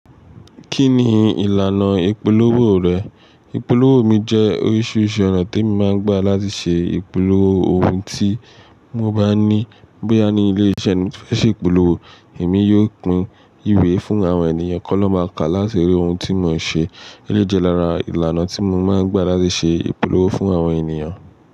Kí ni ìlànà ìpolówó rẹ̀? Ìpolówó mi jẹ́ oríṣiríṣi ọ̀nà tí mo máa ń gbà láti ṣe ìpolówó ohun tí mo bá ní. Bí ní ilé-ìṣẹ́ ní fẹ́ ṣe ìpolówó, èmi yóò pín ìwé fún àwọn ènìyàn kan lọ máa ka láti rí ohun tí mò ń ṣe. Eléyii jẹ́ lára ìlànà tí mo máa ń gbà láti ṣe ìpolówó fún àwọn ènìyàn.